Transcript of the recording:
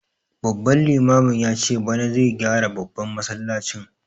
Babban limamin yace bana zai gyara babban masallacin